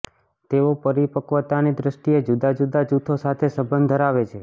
તેઓ પરિપક્વતાની દ્રષ્ટિએ જુદા જુદા જૂથો સાથે સંબંધ ધરાવે છે